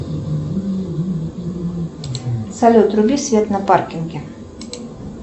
салют вруби свет на паркинге